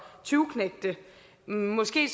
tyveknægte måske